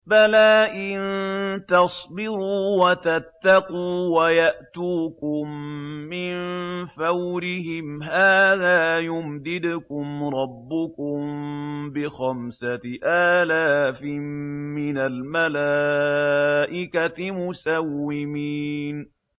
بَلَىٰ ۚ إِن تَصْبِرُوا وَتَتَّقُوا وَيَأْتُوكُم مِّن فَوْرِهِمْ هَٰذَا يُمْدِدْكُمْ رَبُّكُم بِخَمْسَةِ آلَافٍ مِّنَ الْمَلَائِكَةِ مُسَوِّمِينَ